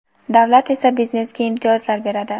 davlat esa biznesga imtiyozlar beradi.